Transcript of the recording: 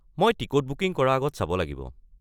মই ticket booking কৰা আগত চাব লাগিব।